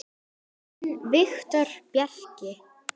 Þinn Viktor Bjarki.